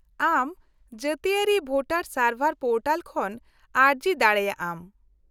-ᱟᱢ ᱡᱟᱹᱛᱤᱭᱟᱹᱨᱤ voter service portal ᱠᱷᱚᱱ ᱟᱹᱨᱡᱤ ᱫᱟᱲᱮᱭᱟᱜ ᱟᱢ ᱾